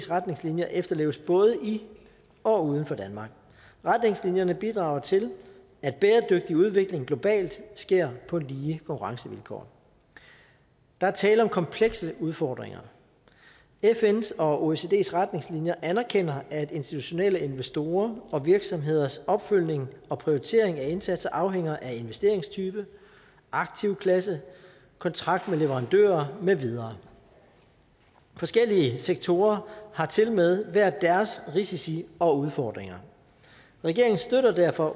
retningslinjer efterleves både i og uden for danmark retningslinjerne bidrager til at bæredygtig udvikling globalt sker på lige konkurrencevilkår der er tale om komplekse udfordringer fns og oecds retningslinjer anerkender at institutionelle investorer og virksomheders opfølgning og prioritering af indsatser afhænger af investeringstype aktivklasse kontrakt med leverandører med videre forskellige sektorer har tilmed hver deres risici og udfordringer regeringen støtter derfor